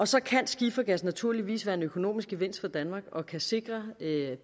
så kan skifergas naturligvis være en økonomisk gevinst for danmark og kan også sikre